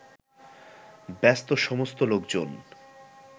ব্যস্তসমস্ত লোকজন